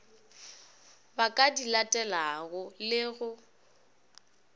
ba ka dilatelago le go